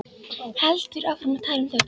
Heldur áfram að tala um Þór